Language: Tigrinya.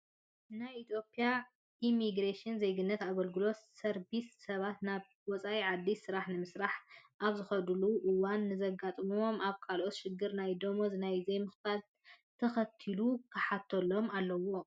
ናይ ኢትዮጵያ ኢሚግሬሽንና ዜግነት ኣገልግሎት ሰርቢስ ሰባት ናብ ወፃኢ ዓዲ ስራሕ ንምስራሕ ኣብዝኸድሉ እዋን ንዘጋጥሞም ኣብ ኣካላቶም ችግርን ናይ ደመወዝ ናይ ዘይምኽፋልን ተኸታቲሉ ክሓተሎም ኣለዎ።